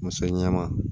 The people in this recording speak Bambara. Muso ɲɛnɛma